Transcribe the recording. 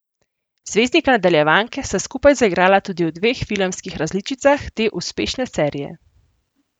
Zvezdnika nadaljevanke sta skupaj zaigrala tudi v dveh filmskih različicah te uspešne serije.